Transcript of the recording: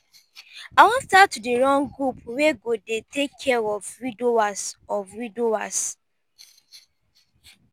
i wan start to dey run group wey go dey take care of widowers of widowers.